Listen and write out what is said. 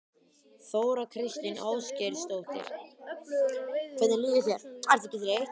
Þóra Kristín Ásgeirsdóttir: Hvernig líður þér, ertu ekki þreytt?